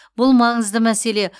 бұл маңызды мәселе